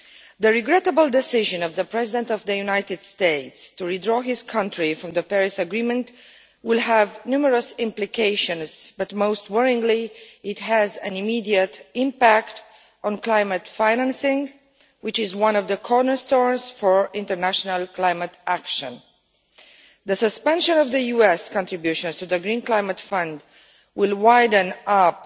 The regrettable decision by the President of the United States to withdraw his country from the Paris Agreement will have numerous implications but, most worryingly, it has an immediate impact on climate financing, which is one of the cornerstones for international climate action. The suspension of US contributions to the Green Climate Fund will open up